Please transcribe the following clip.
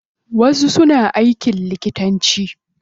Wasu suna aikin likitanci.